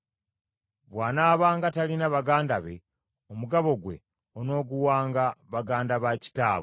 Bw’anaabanga talina baganda be, omugabo gwe onooguwanga baganda ba kitaawe.